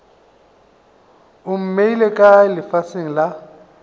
o mmeile kae lefaseng la